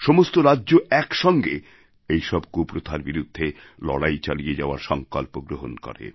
সমস্ত রাজ্য একসঙ্গে এইসব কুপ্রথার বিরুদ্ধে লড়াই চালিয়ে যাওয়ার সংকল্প গ্রহণ করে